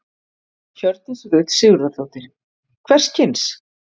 Hjördís Rut Sigurðardóttir: Hvers kyns?